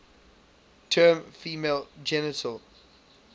term female genital